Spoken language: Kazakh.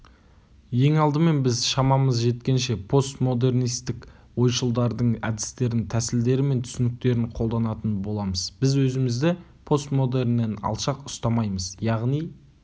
ең алдымен біз шамамыз жеткенше постмодернистік ойшылдардың әдістерін тәсілдері мен түсініктерін қолданатын боламыз біз өзімізді постмодерннен алшақ ұстамаймыз яғни